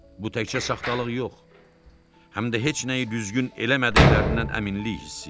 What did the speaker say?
Bu təkcə saxtalıq yox, həm də heç nəyi düzgün eləmədiklərindən əminlik hissi idi.